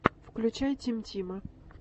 включай тим тима